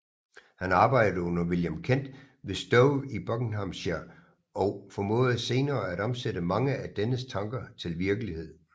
Han arbejdede under William Kent ved Stowe i Buckinghamshire og formåede senere at omsætte mange af dennes tanker til virkelighed